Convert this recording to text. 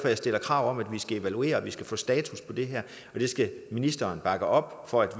jeg stiller krav om at vi skal evaluere at vi skal få en status på det her og det skal ministeren bakke op for at